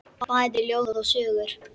Bæði ljóð og sögur.